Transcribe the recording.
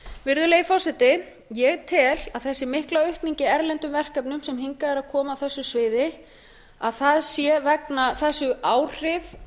virðulegi forseti ég tel að þessi mikla aukning í erlendum verkefnum sem hingað er að koma á þessi sviði séu áhrif